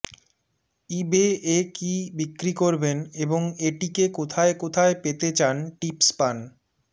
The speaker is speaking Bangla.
ইবে এ কী বিক্রি করবেন এবং এটিকে কোথায় কোথায় পেতে চান টিপস পান